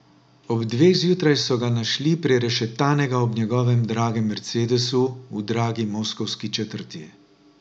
Ob dveh zjutraj so ga našli prerešetanega ob njegovem dragem mercedesu v dragi moskovski četrti.